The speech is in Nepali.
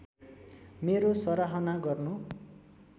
मेरो सराहना गर्नु